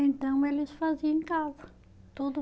Então, eles faziam em casa, tudo.